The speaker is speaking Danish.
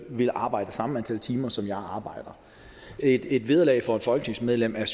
ville arbejde samme antal timer som jeg arbejder et et vederlag for et folketingsmedlem er